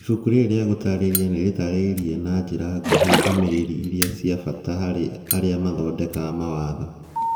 Ibuku rĩrĩ rĩa gũtaarĩria nĩ rĩtaarĩirie na njĩra nguhĩ ndũmĩrĩri iria cia bata harĩ arĩa mathondekaga mawatho na